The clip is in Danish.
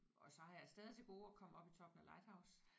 Og så har jeg stadig til gode at komme op i toppen af Lighthouse